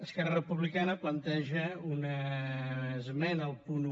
esquerra republicana planteja una esmena al punt un